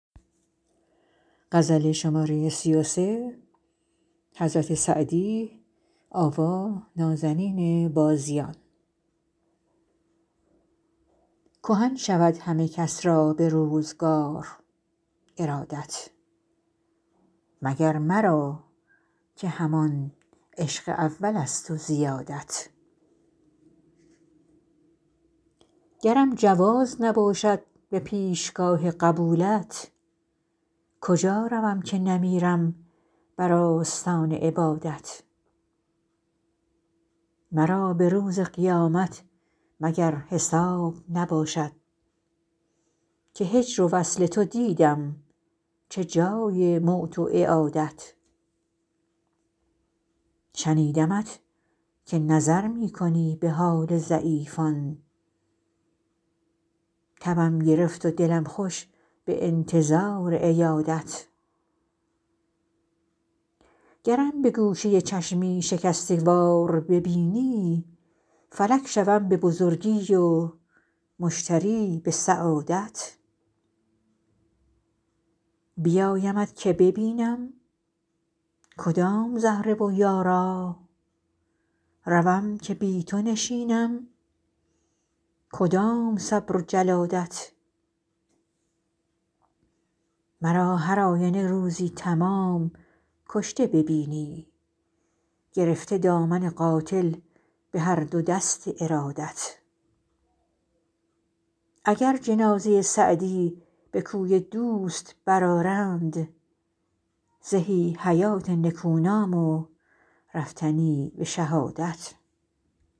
کهن شود همه کس را به روزگار ارادت مگر مرا که همان عشق اولست و زیادت گرم جواز نباشد به پیشگاه قبولت کجا روم که نمیرم بر آستان عبادت مرا به روز قیامت مگر حساب نباشد که هجر و وصل تو دیدم چه جای موت و اعادت شنیدمت که نظر می کنی به حال ضعیفان تبم گرفت و دلم خوش به انتظار عیادت گرم به گوشه چشمی شکسته وار ببینی فلک شوم به بزرگی و مشتری به سعادت بیایمت که ببینم کدام زهره و یارا روم که بی تو نشینم کدام صبر و جلادت مرا هر آینه روزی تمام کشته ببینی گرفته دامن قاتل به هر دو دست ارادت اگر جنازه سعدی به کوی دوست برآرند زهی حیات نکونام و رفتنی به شهادت